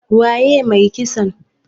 Waye mai kisan?